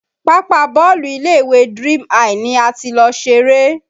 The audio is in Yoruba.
Pápá bọ́ọ̀lù ilé ìwé Dream high ni a ti lọ ṣeré